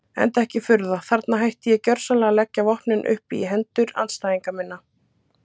Enda ekki furða, þarna hætti ég gjörsamlega að leggja vopnin upp í hendur andstæðinga minna.